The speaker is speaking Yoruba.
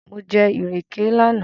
Mo jẹ ìrèké lánàá